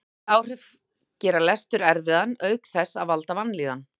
þessi áhrif gera lestur erfiðan auk þess að valda vanlíðan